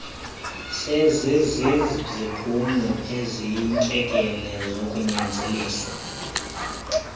seziziziphumo eziyintlekele zokunyanzeliswa